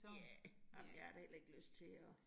Ja. Nej, men jeg har da heller ikke lyst til at